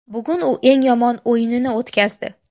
Bugun u eng yomon o‘yinini o‘tkazdi.